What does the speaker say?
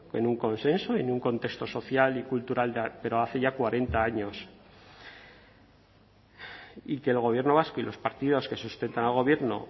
en un consenso en un contexto social y cultural pero hace ya cuarenta años y que el gobierno vasco y los partidos que sustentan al gobierno